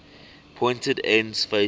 pointed ends facing